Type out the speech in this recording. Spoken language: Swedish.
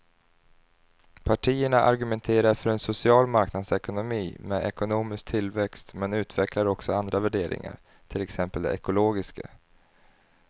Partierna argumenterar för en social marknadsekonomi med ekonomisk tillväxt men utvecklar också andra värderingar, till exempel de ekologiska.